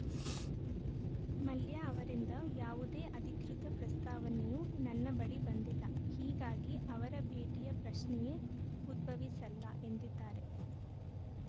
ಮಲ್ಯ ಅವರಿಂದ ಯಾವುದೇ ಅಧಿಕೃತ ಪ್ರಸ್ತಾವನೆಯೂ ನನ್ನ ಬಳಿ ಬಂದಿಲ್ಲ ಹೀಗಾಗಿ ಅವರ ಭೇಟಿಯ ಪ್ರಶ್ನೆಯೇ ಉದ್ಭವಿಸಲ್ಲ ಎಂದಿದ್ದಾರೆ